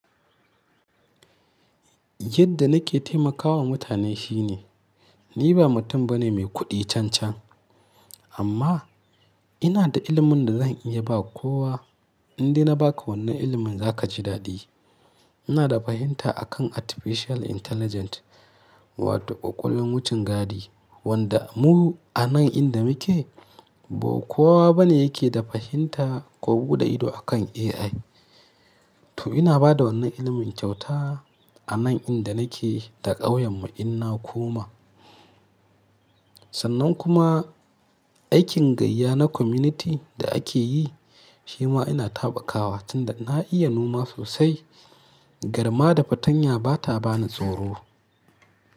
Yadda nake taimakawa mutane shine, ni ba mutum bane mai kuɗi cancan, amma ina da ilimin da zan iya ba kowa. In dai na ba ka wannan ilimin za ka ji daɗi. Ina da fahimta a kan Artificial Intelligence wato ƙwaƙwalwan wucin gadi, wanda mu anan inda muke ba kowa bane yake da fahimta ko buɗe ido akan AI. To ina bada wannan ilimin kyauta anan inda nake da ƙauyen mu in na koma. Sannan kuma aikin gayya na community da ake yi shi ma ina taɓa kuwa tunda na iya noma sosai. Garma da fartanya bata bani tsoro.